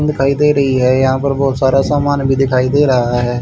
दिखाई दे रही है यहां पर बहोत सारा सामान भी दिखाई दे रहा है।